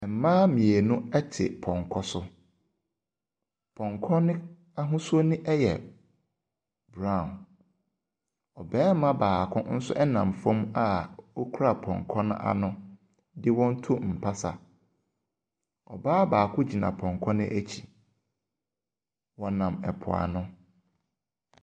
Mmaa mmienu te pɔnkɔ so. Pɔnkɔ no ahosuo yɛ brown. Barima baako nso nam fam a ɔkura pɔnkɔ no ano de ɛɔn retu mpasa. Ɔbaa baako gyina pɔnkɔ no akyi. Wɔnam mpoano.